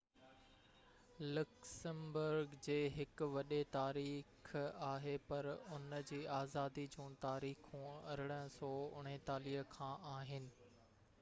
Luxembourg جي هڪ وڏي تاريخ آهي پر ان جي آزادي جون تاريخون 1839 کان آهن